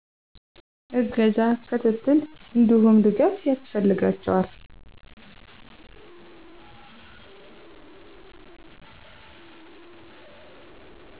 እገዛ፣ ክትትል እንዲሁም ድጋፍ ያስፈልጋቸዋል